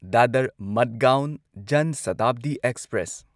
Dadar Madgaon Jan Shatabdi express